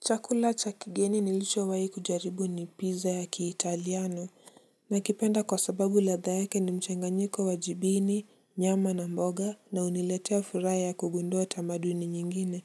Chakula cha kigeni nilichowahi kujaribu ni pizza ya kiitaliano. Nakipenda kwa sababu ladha yake ni mchanganyiko wa jibini, nyama na mboga, na huniletea furaha ya kugundua tamaduni nyingine.